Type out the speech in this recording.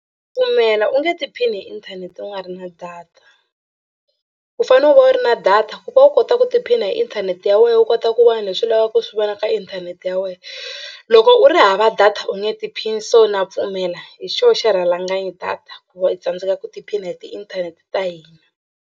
Pfumela u nge tiphini hi inthanete u nga ri na data u fanele u va u ri na data ku va u kota ku tiphina hi inthanete ya wena u kota ku vona leswi u lavaka ku swi vona ka inthanete ya wena. Loko u ri hava data u nge tiphini so na pfumela hi xona xirhalanganyi data ku va u tsandzeka ku tiphina hi tiinthanete ta hina.